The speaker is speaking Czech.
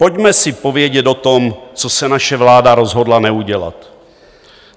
Pojďme si povědět o tom, co se naše vláda rozhodla neudělat.